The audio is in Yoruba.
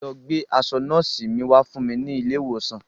Lọ gba aṣọ nọ́ọ̀sì mi wá ní ilé ìwòsàn